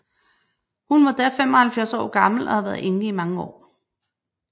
Hun var da 75 år gammel og havde været enke i mange år